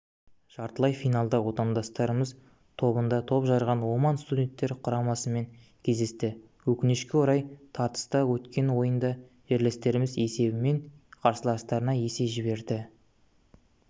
жартылай финалда отандастарымыз тобында топ жарған оман студенттер құрамасымен кездесті өкінішке орай тартысты өткен ойында жерлестеріміз есебімен қарсыластарына есе жіберді